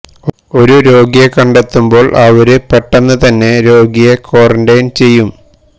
ഒരു രോഗിയെ കണ്ടെത്തുമ്പോള് അവര് പെട്ടെന്ന് തന്നെ രോഗിയെ ക്വാറന്റൈന് ചെയ്യും